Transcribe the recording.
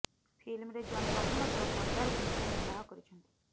ଫିଲ୍ମରେ ଜନ୍ ପ୍ରଥମ ଥର ସର୍ଦ୍ଦାର ଭୂମିକା ନିର୍ବାହ କରିଛନ୍ତି